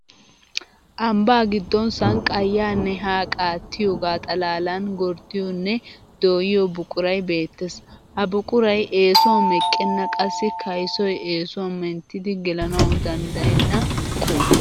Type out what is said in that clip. Ambbaa giddon sanqqaa yaanne haa qaattiyoogaa xalaalan gorddiyoonne dooyiyo buquray beettes. Ha buquray eesuwan meqqenna qassi kaysos eesuwan menttidi gelanawu danddayenna qulffe.